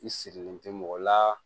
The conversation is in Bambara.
I sirilen tɛ mɔgɔ la